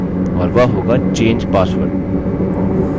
और वह होगा change password